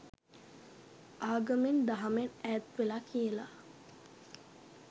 ආගමෙන් දහමෙන් ඈත් වෙලා කියලා.